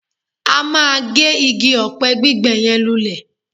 A máa gé igi ọ̀pẹ gbígbẹ yẹn lulẹ̀